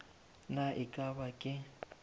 na e ka ba ke